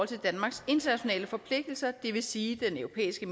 til danmarks internationale forpligtelser det vil sige den europæiske